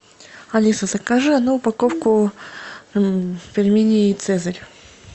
алиса закажи одну упаковку пельменей цезарь